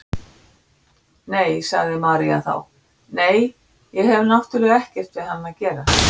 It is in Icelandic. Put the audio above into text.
Nei, sagði María þá, nei, ég hef náttúrlega ekkert við hann að gera.